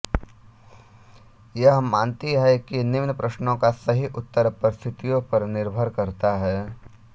यह मानती है कि निम्न प्रश्नों का सही उत्तर परिस्थितियों पर निर्भर करता है